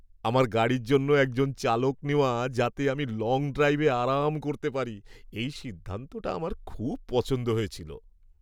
আমার গাড়ির জন্য একজন চালক নেওয়া যাতে আমি লং ড্রাইভে আরাম করতে পারি, এই সিদ্ধান্তটা আমার খুব পছন্দ হয়েছিল।